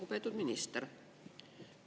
Lugupeetud minister!